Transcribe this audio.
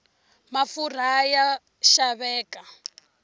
mafurha ya xaveka